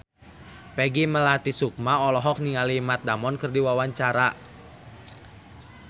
Peggy Melati Sukma olohok ningali Matt Damon keur diwawancara